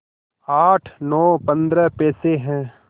आठ नौ पंद्रह पैसे हैं